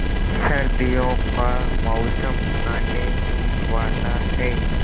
सर्दियों का मौसम आने ही वाला है